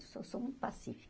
Eu sou sou muito pacífica.